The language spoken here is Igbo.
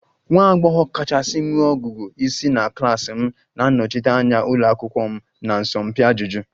Nwa agbọghọ kachasị nwee ọgụgụ isi na klas m na-anọchite anya ụlọ akwụkwọ m na asọmpi ajụjụ